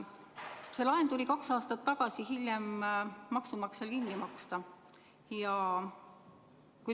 See laen tuli kaks aastat tagasi hiljem maksumaksjal kinni maksta.